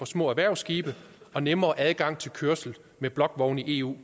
små erhvervsskibe og nemmere adgang til kørsel med blokvogne i eu